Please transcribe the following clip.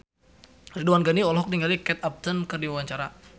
Ridwan Ghani olohok ningali Kate Upton keur diwawancara